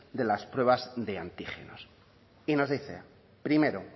de las pruebas de antígenos y nos dice primero